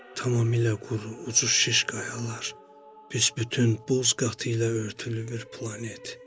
Tamamilə quru, ucu şiş qayalar, büsbütün duz qatı ilə örtülü bir planet.